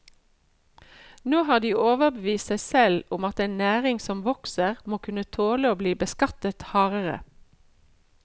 Nå har de overbevist seg selv om at en næring som vokser, må kunne tåle å bli beskattet hardere.